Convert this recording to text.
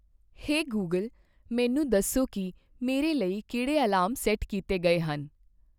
ਹੇ Google, ਮੈਨੂੰ ਦੱਸੋ ਕੀ ਮੇਰੇ ਲਈ ਕਿਹੜੇ ਅਲਾਰਮ ਸੈੱਟ ਕੀਤੇ ਗਏ ਹਨ?